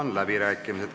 Avan läbirääkimised.